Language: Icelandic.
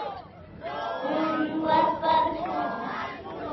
Hún var bara svona